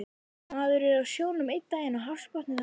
Maður er á sjónum einn daginn og hafsbotni þann næsta